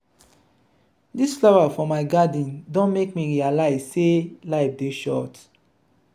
dis flower for my garden don make me realize sey life dey short.